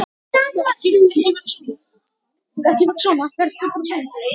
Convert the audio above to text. Hafði umræðan áhrif á hana?